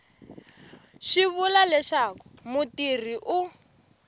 swi vula leswaku mutirhi u